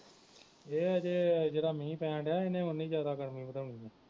ਇਹ ਹਜੇ ਜਿਹੜਾ ਮੀਹ ਪੈਣ ਦਿਆ ਇਹਨੇ ਉਨੀ ਜਿਆਦਾ ਗਰਮੀ ਵਧਾਉਣੀ